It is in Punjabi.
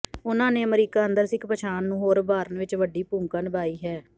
ਉਨ੍ਹਾਂ ਨੇ ਅਮਰੀਕਾ ਅੰਦਰ ਸਿੱਖ ਪਛਾਣ ਨੂੰ ਹੋਰ ਉਭਾਰਨ ਵਿਚ ਵੱਡੀ ਭੂਮਿਕਾ ਨਿਭਾਈ ਹੈ